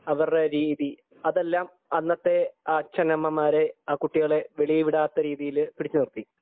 അവരുടെ രീതി അതെല്ലാം അന്നത്തെ അച്ഛനമ്മമാരെ ആ കുട്ടികളെ വെളിയിൽ വിടാത്ത രീതിയിൽ പിടിച്ചു നിർത്തി